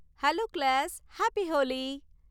Hello class, happy Holi!